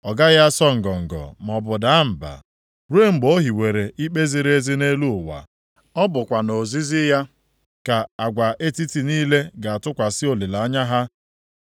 Ọ gaghị asọ ngọngọ maọbụ daa mba, ruo mgbe o hiwere ikpe ziri ezi nʼelu ụwa. Ọ bụkwa nʼozizi ya ka agwa etiti niile ga-atụkwasị olileanya ha.”